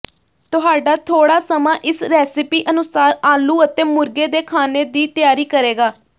ਤੁਹਾਡਾ ਥੋੜ੍ਹਾ ਸਮਾਂ ਇਸ ਰੈਸਿਪੀ ਅਨੁਸਾਰ ਆਲੂ ਅਤੇ ਮੁਰਗੇ ਦੇ ਖਾਣੇ ਦੀ ਤਿਆਰੀ ਕਰੇਗਾ